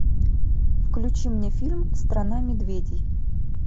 включи мне фильм страна медведей